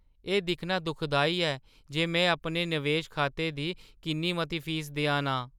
एह् दिक्खना दुखदाई ऐ जे में अपने नवेश खातें दी किन्नी मती फीस देआ ना आं।